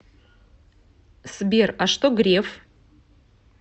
сбер а что греф